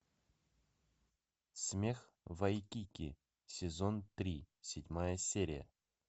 смех в вайкики сезон три седьмая серия